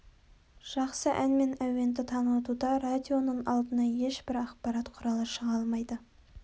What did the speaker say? жақсы ән мен әуенді танытуда радионың алдына ешбір ақпарат құралы шыға алмайды